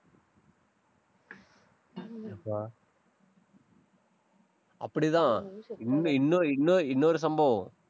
யப்பா. அப்படிதான். இன்னும், இன்னொ~ இன்னொ~ இன்னொரு சம்பவம்.